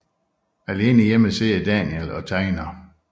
Alene hjemme sidder Daniel og tegner